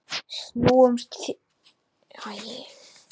Snúumst því til varnar!